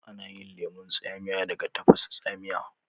Ana yin lemun tsamiya daga tafasa tsamiya